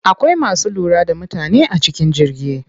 Akwai masu lura da mutane a cikin jirgi.